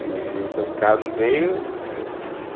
E então ficava no meio, né.